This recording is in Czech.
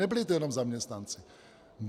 Nebyli to jenom zaměstnanci.